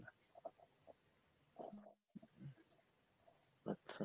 আচ্ছা